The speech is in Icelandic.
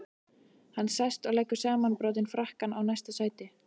Hann sest og leggur samanbrotinn frakkann í næsta sæti.